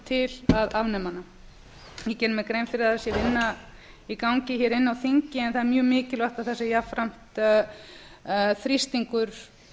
til að afnema hana ég geri mér grein fyrir að sé vinna í gangi hér inni á þingi en það er mjög mikilvægt að það sé jafnframt þrýstingur